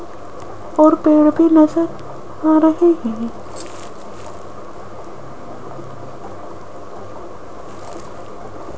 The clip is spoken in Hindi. और वो भी नजर आ रही है।